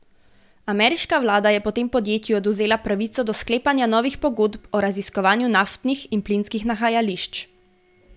Ameriška vlada je potem podjetju odvzela pravico do sklepanja novih pogodb o raziskovanju naftnih in plinskih nahajališč.